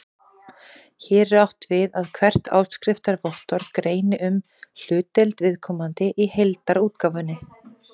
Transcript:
Hér er átt við að hvert áskriftarvottorð greini um hlutdeild viðkomandi í heildarútgáfunni.